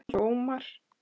Halldór og Ómar.